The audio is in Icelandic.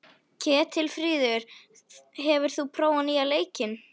Ketilfríður, hefur þú prófað nýja leikinn?